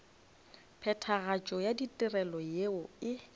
phethagatšo ya ditirelo yeo e